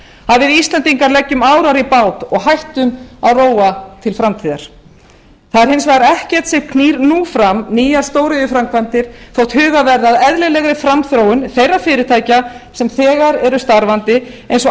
við íslendingar leggjum árar í bát og hættum að róa til framtíðar það er hins vegar ekkert sem knýr nú fram nýjar stóriðjuframkvæmdir þótt verði að eðlilegri framþróun þeirra fyrirtækja sem þegar eru starfandi eins